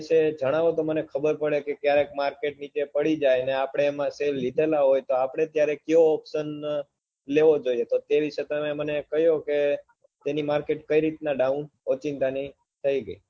વિષે જણાવો તો મને ખબર પડે કે ક્યારે market નીચે પડી જાય ને આપડે એના share લીધેલા હોય તો આપડે ક્યારે કકયો opsan લેવો જોઈએ તે દિવસ તમે મને કહ્યું કે એની market કઈ રીતના down ઓચિંતા ની થઇ ગઈ